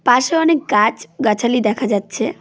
পাশে অনেক গাছগাছালি দেখা যাচ্ছে।